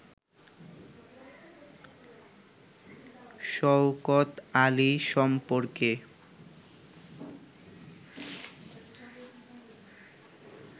শওকত আলী সম্পর্কে